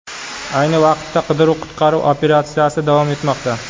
Ayni vaqtda qidiruv-qutqaruv operatsiyasi davom etmoqda.